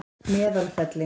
Meðalfelli